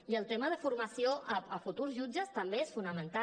i el tema de formació a futurs jutges també és fonamental